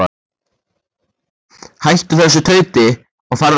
Hættu þessu tauti og farðu að sofa.